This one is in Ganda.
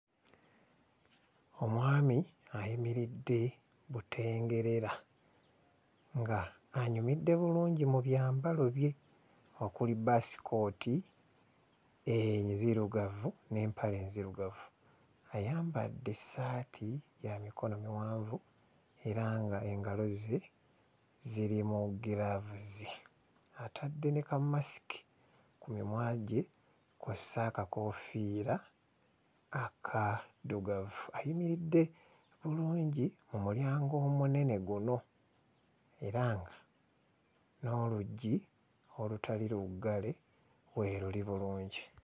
Omwami ayimiridde butengerera ng'anyumidde bulungi mu byambalo bye okuli basikooti enzirugavu n'empale enzirugavu. Ayambadde essaati ya mikono miwanvu era ng'engalo ze ziri mu giraavuzi. Atadde ne kammasiki ku mimwa gye kw'ossa akakoofiira akaddugavu. Ayimiridde bulungi mu mulyango omunene guno era nga n'oluggi olutali luggale weeruli bulungi.